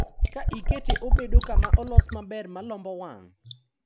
Ka ikete obedo kama olos maber malombo wang'